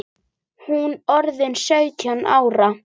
Hún orðin sautján ára.